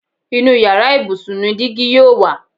Inú yàrá ibùsùn ni dígí yóò wà